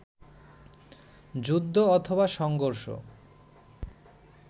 যুদ্ধ অথবা সংঘর্ষ